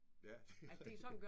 Ja det rigtigt